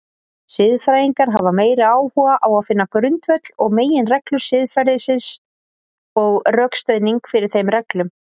Siðfræðingar hafa meiri áhuga á finna grundvöll og meginreglur siðferðisins og rökstuðning fyrir þeim reglum.